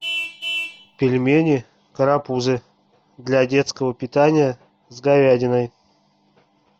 пельмени карапузы для детского питания с говядиной